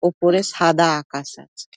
ওপরে সাদা আকাশ আছে ।